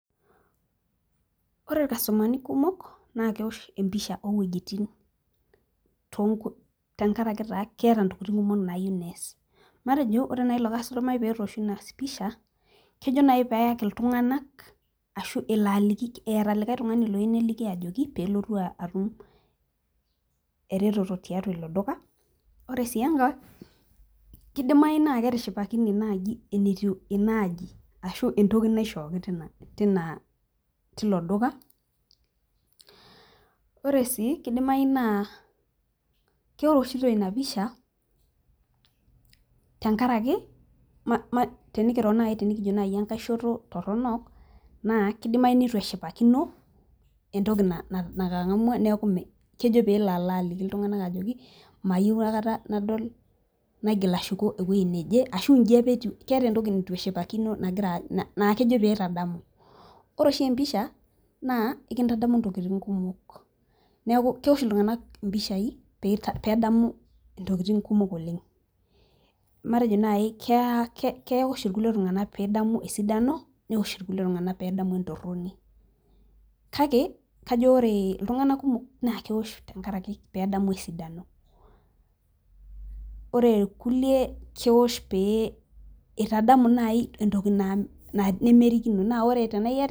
ore ilkastomani kumok naa kewosh empisha owejitin, tengaraki taa keeta intokitin kumok nayieu nees kidimayu naa ore naji pee etosho ena pisha naa kejo pee eyaki iltung'anak, ashu eeta likae tung'ani ajo pee elo aliki pee etum , ore sii engae kidimayu naaji, neyiolou enetiu inaaji ore sii kidimayu naa keeoshito empisha naa ekindadamu intokitun kumok, neeku kewosh iltung'anak impishai pee edamu intokitin kumok oleng, matejo keeta pee edamu esidano kake kajo ore iltungana kumok naa keosh pee edamu esidano.